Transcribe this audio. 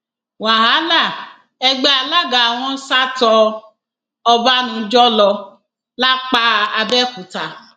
wàhálà ẹgbẹ alága wọn sà tó ọbànújò lọ lápàbèòkúta